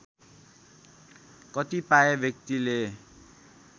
कतिपय व्यक्तिले